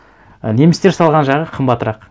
і немістер салған жағы қымбатырақ